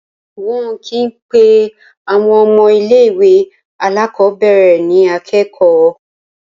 Wọn kì í pe àwọn ọmọ ilé-ìwé alákọ̀ọ́bẹ̀rẹ̀ ní akẹ́kọ̀ọ́.